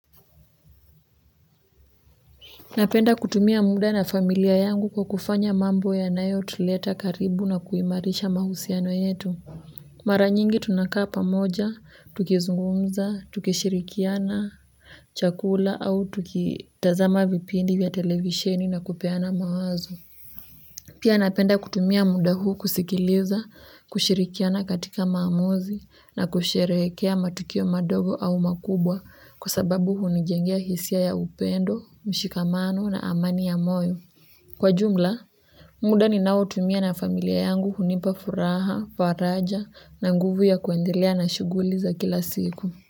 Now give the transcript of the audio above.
Napenda kutumia muda na familia yangu kwa kufanya mambo yanayo tuleta karibu na kuimarisha mahusiano yetu. Mara nyingi tunakaa pamoja, tukizungumza, tukishirikiana, chakula au tukitazama vipindi vya televishini na kupeana mawazo. Pia napenda kutumia muda huu kusikiliza, kushirikiana katika maamuzi na kusherehekea matukio madogo au makubwa kwa sababu hunijengia hisia ya upendo, mshikamano na amani ya moyo. Kwa jumla, muda ninao tumia na familia yangu hunipa furaha, faraja na nguvu ya kuendelea na shughuli za kila siku.